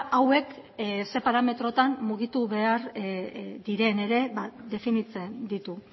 hauek zein parametrotan mugitu behar diren ere definitzen ditu